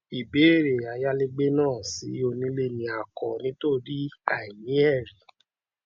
ìbéèrè ayálégbé náà sí onílẹ ni a kọ nítorí àìní ẹrí